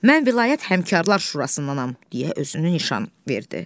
Mən vilayət Həmkarla Şurasındanam, deyə özünü nişan verdi.